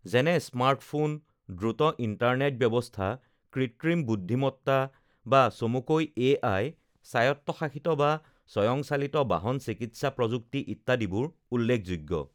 যেনে স্মাৰ্টফোন, দ্ৰুত ইণ্টাৰনেট ব্যৱস্থা, কৃত্ৰিম বুদ্ধিমত্তা বা চমুকৈ এ আই, স্ৱায়ত্বশাসিত বা স্ৱয়ংচালিত বাহন, চিকিৎসা প্ৰযুক্তি ইত্যাদিবোৰ উল্লেখযোগ্য